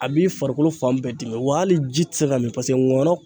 A b'i farikolo fan bɛɛ dimi, wa hali ji tɛ se ka min paseke ngɔyɔ